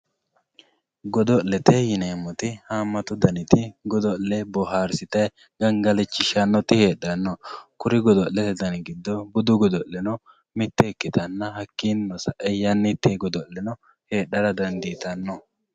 godo'lete yineemmoti haammatu daniti godo'le boohaarsitay gangalachishshannoti heedhanno kuri godo'lete dani giddo budu godo'leno mitte ikkitanna hakkiinnino sa'e yannitte godo'leno heedhara dandiitanno